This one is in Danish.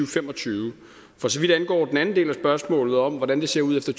fem og tyve for så vidt angår den anden del af spørgsmålet om hvordan det ser ud efter